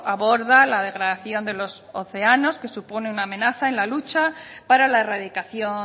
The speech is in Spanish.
aborda la degradación de los océanos que supone una amenaza en la lucha para la erradicación